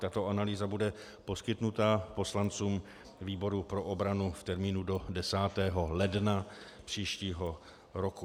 Tato analýza bude poskytnuta poslancům výboru pro obranu v termínu do 10. ledna příštího roku.